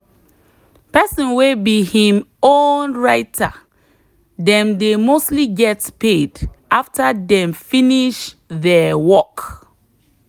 person way be him own writer dem dey mostly get paid after dem finish there work